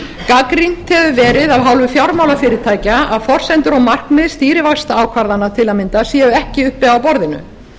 gagnrýnt hefur verið af hálfu fjármálafyrirtækja að forsendur og markmið stýrivaxtaákvarðana til að mynda séu ekki uppi á borðinu sú